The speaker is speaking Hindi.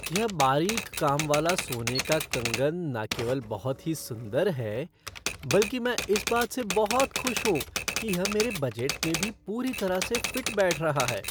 यह बारीक काम वाला सोने का कंगन न केवल बहुत ही सुंदर है, बल्कि मैं इस बात से बहुत खुश हूँ कि यह मेरे बजट में भी पूरी तरह से फ़िट बैठ रहा है।